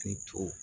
Ni co